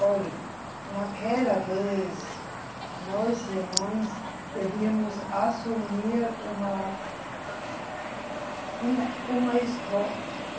Olhe, naquela vez, nós, irmãs, devíamos assumir uma um, uma esco, eh